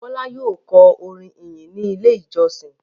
Bọ́lá yóò kọ orin ìyìn ní Ilé-ìjọsìn.